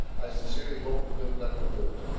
I sincerely hope we do not let them do it.